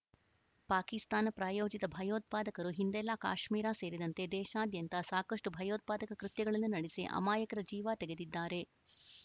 ಪಾಕಿಸ್ತಾನ ಪ್ರಾಯೋಜಿತ ಭಯೋತ್ಪಾದಕರು ಹಿಂದೆಲ್ಲಾ ಕಾಶ್ಮೀರ ಸೇರಿದಂತೆ ದೇಶಾದ್ಯಂತ ಸಾಕಷ್ಟುಭಯೋತ್ಪಾದಕ ಕೃತ್ಯಗಳನ್ನು ನಡೆಸಿ ಅಮಾಯಕರ ಜೀವ ತೆಗೆದಿದ್ದಾರೆ